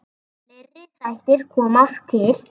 Fleiri þættir koma til.